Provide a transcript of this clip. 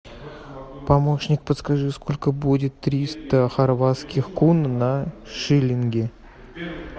помощник подскажи сколько будет триста хорватских кун на шиллинги